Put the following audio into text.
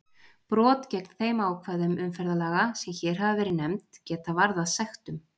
Brot gegn þeim ákvæðum umferðarlaga sem hér hafa verið nefnd geta varðað sektum.